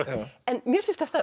en mér finnst þetta